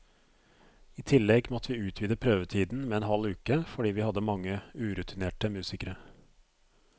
I tillegg måtte vi utvide prøvetiden med en halv uke, fordi vi hadde mange urutinerte musikere.